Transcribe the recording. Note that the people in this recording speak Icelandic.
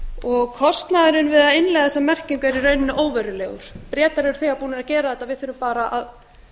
og kostnaðurinn við að innleiða þessa merkingu er í rauninni óverulegur bretar eru þegar búnir að gera þetta við þurfum bara að